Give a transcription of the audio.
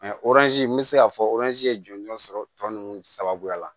oranzi n bɛ se k'a fɔ oranzi ye jɔnjɔn sɔrɔ tɔ ninnu sababuya la